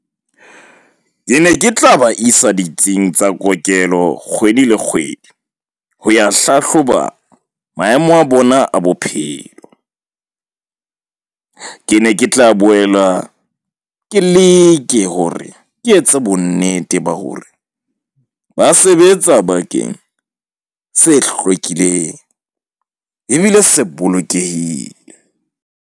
Ke ne ke tla ba isa ditsing tsa kokelo kgwedi le kgwedi, ho ya hlahloba maemo a bona a bophelo . Ke ne ke tla boela ke leke hore ke etse bonnete ba hore ba sebetsa bakeng se hlwekileng ebile se bolokehile.